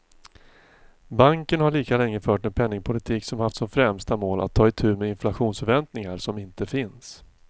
Banken har lika länge fört en penningpolitik som haft som främsta mål att ta itu med inflationsförväntningar som inte finns.